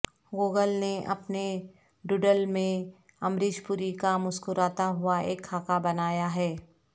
Google نے اپنے doodle میں امریش پوری کا مسکراتا ہوا ایک خاکہ بنایا ہے